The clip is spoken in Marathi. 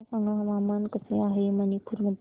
मला सांगा हवामान कसे आहे मणिपूर मध्ये